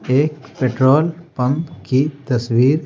एक petrol pump की तस्वीर--